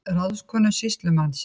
PÁLL: Ráðskonu sýslumannsins?